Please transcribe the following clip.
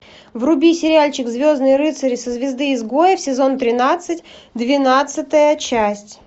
вруби сериальчик звездные рыцари со звезды изгоев сезон тринадцать двенадцатая часть